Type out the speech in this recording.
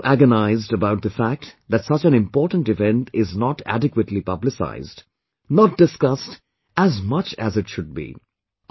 You have also agonized about the fact that such an important event is not adequately publicized, not discussed as much as it should be